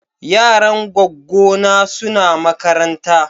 Yaran gwaggo na suna makaranta.